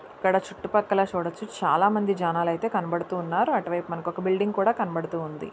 ఇక్కడ చుట్టుపక్కల చూడొచ్చు చాలామంది జనాలు అయితే కనబడుతున్నారు. అటువైపు మనకు ఒక బిల్డింగ్ అయితే కనబడుతోంది.